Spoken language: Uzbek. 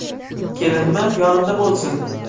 Kelinmi, yonimda bo‘lsin.